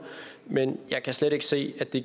men jeg kan slet ikke se at det